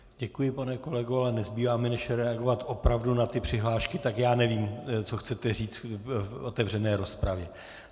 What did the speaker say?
Děkuji, pane kolego, ale nezbývá mi, než reagovat opravdu na ty přihlášky, tak já nevím, co chcete říct v otevřené rozpravě.